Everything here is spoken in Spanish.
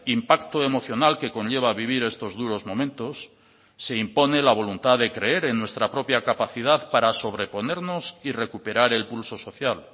impacto emocional que conlleva vivir estos duros momentos se impone la voluntad de creer en nuestra propia capacidad para sobreponernos y recuperar el pulso social